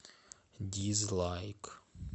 дизлайк